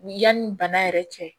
Ni yanni bana yɛrɛ cɛ